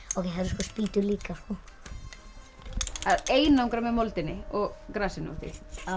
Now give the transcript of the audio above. spýtur líka að einangra með moldinni og grasinu uppi já